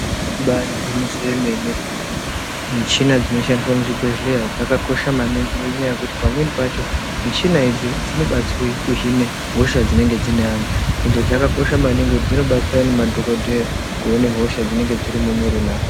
Imbari gwinyiso remene .Michina dzinoshandiswa muzvibhehleya dzakakosha maningi ngenyaya yekuti pamweni pacho michina idzi dzinobatsir kuhine hosha dzinenge dziri mumuiri meanhu .Ende dzakakosha maningi ngekuti dzinobatsira madhokodheya kuningire hosha dzinenge dziri mumuiri meanhu.